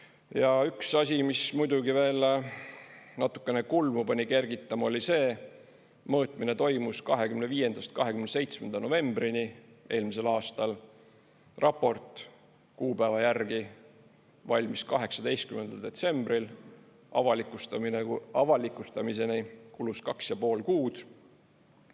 Ja üks asi, mis muidugi veel natukene kulmu pani kergitama, oli see, et mõõtmine toimus 25. kuni 27. novembrini eelmisel aastal, raport kuupäeva järgi valmis 18. detsembril, avalikustamiseni kulus 2,5 kuud.